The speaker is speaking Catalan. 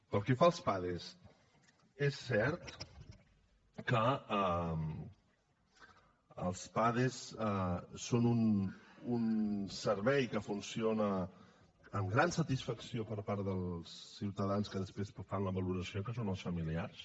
pel que fa als pades és cert que els pades són un servei que funciona amb gran satisfacció per part dels ciutadans que després en fan la valoració que són els familiars